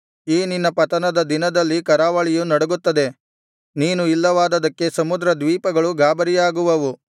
ಈ ನಿನ್ನ ಪತನದ ದಿನದಲ್ಲಿ ಕರಾವಳಿಯು ನಡುಗುತ್ತದೆ ನೀನು ಇಲ್ಲವಾದದ್ದಕ್ಕೆ ಸಮುದ್ರ ದ್ವೀಪಗಳು ಗಾಬರಿಯಾಗುವವು